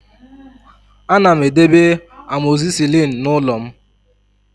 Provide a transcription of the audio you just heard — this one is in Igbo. Ana m edebe amoxicillin n'ụlọ m